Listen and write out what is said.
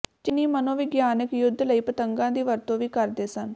ਚੀਨੀ ਮਨੋਵਿਗਿਆਨਕ ਯੁੱਧ ਲਈ ਪਤੰਗਾਂ ਦੀ ਵਰਤੋਂ ਵੀ ਕਰਦੇ ਸਨ